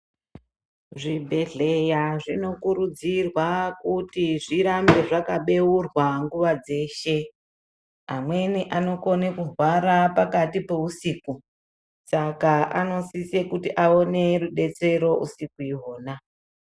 Zvibhedhleya zvinokurudzirwa kuti zvirambe zvakabeurwa nguva dzeshe, amweni anokone kurwara pakati peusiku, saka anosise kuti awone rubetsero usiku ihwona.